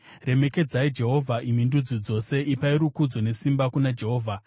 Remekedzai Jehovha, imi ndudzi dzose, ipai rukudzo nesimba kuna Jehovha.